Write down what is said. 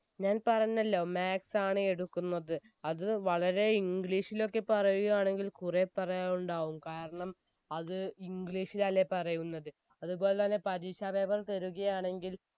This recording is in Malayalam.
ഞാൻ പറഞ്ഞല്ലോ maths ആണ് എടുക്കുന്നത് അത് വളരെ english ലോക്കെ പറയുകയാണെങ്കിൽ കുറെ പറയാനുണ്ടാകും കാരണം അത് english ലല്ലേ പറയുന്നത് അതുപോലെതന്നെ പരീക്ഷ paper തരുകയാണെങ്കിൽ